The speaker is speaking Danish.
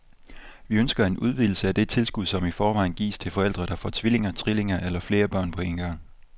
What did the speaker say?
Vi ønsker en udvidelse af det tilskud, som i forvejen gives til forældre, der får tvillinger, trillinger eller flere børn på en gang.